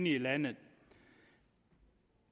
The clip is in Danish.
i landet